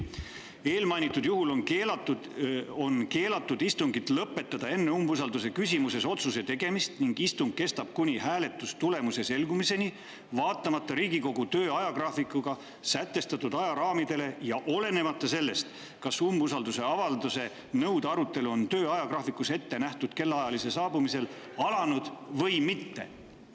"Eelmainitud juhul on keelatud istungit lõpetada enne umbusaldamise küsimuses otsuse tegemist ning istung kestab kuni hääletustulemuse selgumiseni, vaatamata Riigikogu töö ajagraafikuga sätestatud ajaraamidele ja olenemata sellest, kas umbusalduse avaldamise nõude arutelu on töö ajagraafikus ette nähtud kellaaja saabumisel alanud või mitte.